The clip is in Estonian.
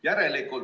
Järelikult ...